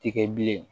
Tɛ kɛ bilen